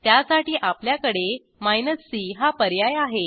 त्यासाठी आपल्याकडे minus C हा पर्याय आहे